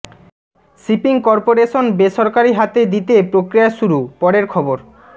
shipping corporation বেসরকারি হাতে দিতে প্রক্রিয়া শুরু পরের খবর